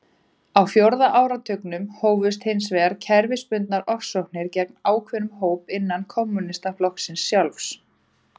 Á fjórða áratugnum hófust hins vegar kerfisbundnar ofsóknir gegn ákveðnum hópum innan kommúnistaflokksins sjálfs.